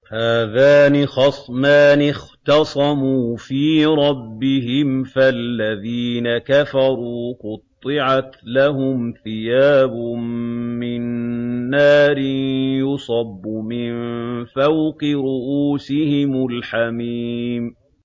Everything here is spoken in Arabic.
۞ هَٰذَانِ خَصْمَانِ اخْتَصَمُوا فِي رَبِّهِمْ ۖ فَالَّذِينَ كَفَرُوا قُطِّعَتْ لَهُمْ ثِيَابٌ مِّن نَّارٍ يُصَبُّ مِن فَوْقِ رُءُوسِهِمُ الْحَمِيمُ